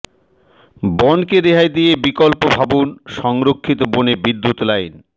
বনকে রেহাই দিয়ে বিকল্প ভাবুন সংরক্ষিত বনে বিদ্যুৎ লাইন